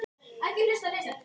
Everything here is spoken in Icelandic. SJÖTTA STUND